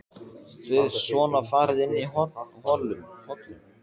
Þið svona farið inn í hollum?